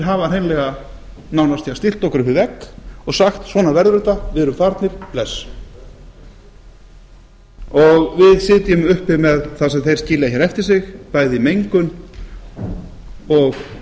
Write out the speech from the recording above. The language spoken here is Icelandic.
hafa hreinlega nánast stillt okkur upp við vegg og sagt svona verður þetta við erum farnir bless og við sitjum uppi með það sem þeir skilja hér eftir sig bæði mengun húsnæði og